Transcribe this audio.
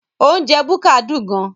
Oúnjẹ búkà dùn gan